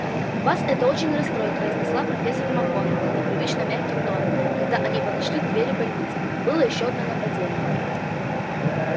вас это очень расстроит произнесла профессор макгонагалл непривычно мягким тоном когда они подошли к двери больницы было ещё одно нападение